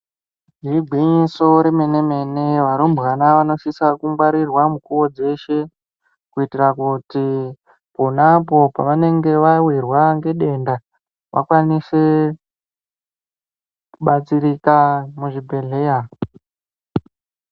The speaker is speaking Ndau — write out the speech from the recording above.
Igwinyiso remene mene varumbwana vanosisa kungwarirwa mukuwo dzeshe kuitira kuti ponapo pavanenge vawirwa ngedenda vakwanise kubatsirika muzvibhedhleya.